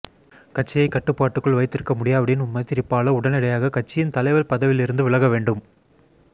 கட்சியை கட்டுப்பாட்டுக்குள் வைத்திருக்க முடியாவிடின் மைத்திரிபால உடனடியாக கட்சியின் தலைவர் பதவியிலிருந்து விலக வேண்டும்